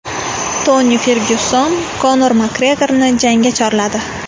Toni Fergyuson Konor Makgregorni jangga chorladi.